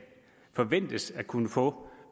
forventes at kunne få